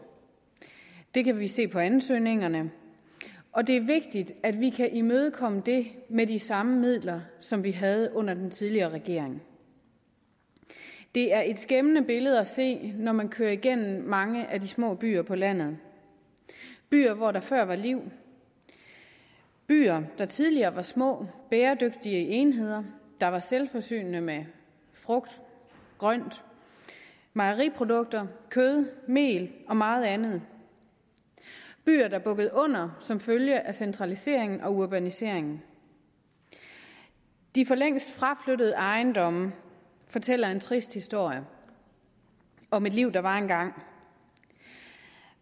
det kan vi se på ansøgningerne og det er vigtigt at vi kan imødekomme det med de samme midler som vi havde under den tidligere regering det er et skæmmende billede at se når man kører igennem mange af de små byer på landet byer hvor der før var liv byer der tidligere var små bæredygtige enheder der var selvforsynende med frugt grønt mejeriprodukter kød mel og meget andet byer der bukkede under som følge af centraliseringen og urbaniseringen de for længst fraflyttede ejendomme fortæller en trist historie om et liv der var engang